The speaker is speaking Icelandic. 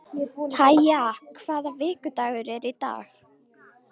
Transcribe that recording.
Kaja, hvaða vikudagur er í dag?